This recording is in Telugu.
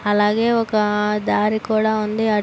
అలాగే ఒక ధరి కూడా ఉంది అటు--